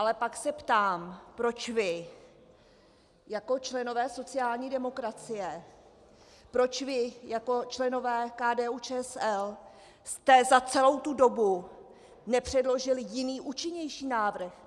Ale pak se ptám, proč vy jako členové sociální demokracie, proč vy, jako členové KDU-ČSL, jste za celou tu dobu nepředložili jiný, účinnější návrh.